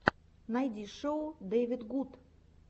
найти шоу дэвидгуд